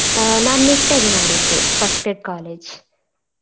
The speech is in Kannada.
ಆ ನಾನ್ ನಿಟ್ಟೆ ಅಲ್ಲಿ ಮಾಡಿದ್ದು first grade college .